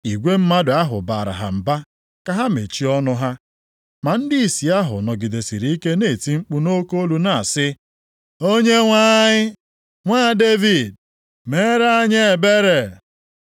Igwe mmadụ ahụ baara ha mba ka ha mechie ọnụ ha. Ma ndịisi ahụ nọgidesịrị ike na-eti mkpu nʼoke olu na-asị, “Onyenwe anyị, Nwa Devid, meere anyị ebere!”